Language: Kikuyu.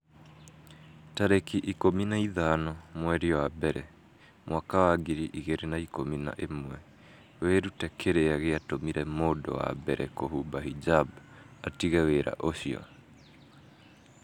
tarĩki ikũmi na ithano mweri wa mbere mwaka wa ngiri igĩrĩ na ikũmi na ĩmweWĩrute kĩrĩa gĩatũmire mũndũ wa mbere kũhumba hijab 'atige wĩra ũcio.